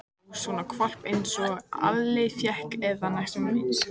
Já, svona hvolp einsog Alli fékk, eða næstum eins.